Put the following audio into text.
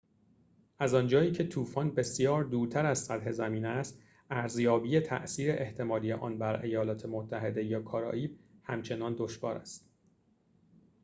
از آنجا که طوفان بسیار دورتر از سطح زمین است ارزیابی تأثیر احتمالی آن بر ایالات متحده یا کارائیب همچنان دشوار است